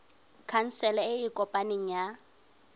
khansele e e kopaneng ya